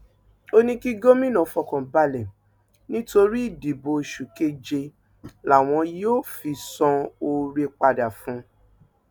ó ní kí gómìnà fọkàn balẹ nítorí ìdìbò oṣù keje làwọn yóò fi san oore padà fún un